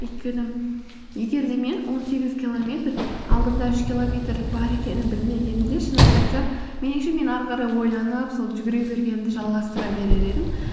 өйткені егер де мен он сегіз километр алдымда үш километр бар екенін білмегенімде шынымды айтсам менінше мен ары қарай ойланып сол жүгіре бергенімді жалғастыра берер едім